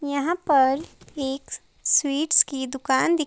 यहां पर एक स्वीट्स की दुकान दिख --